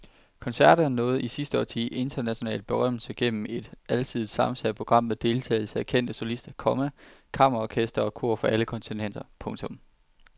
Koncerterne nåede i sidste årti international berømmelse gennem et alsidigt sammensat program med deltagelse af kendte solister, komma kammerorkestre og kor fra alle kontinenter. punktum